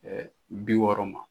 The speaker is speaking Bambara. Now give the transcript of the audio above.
bi wɔɔrɔ ma.